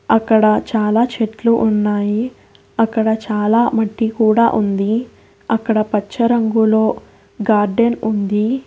అక్కడ చాలా చెట్లు ఉన్నాయి అక్కడ చాలా మట్టి కూడా ఉంది అక్కడ పచ్చ రంగులో గార్డెన్ ఉంది.